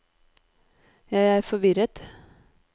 jeg er forvirret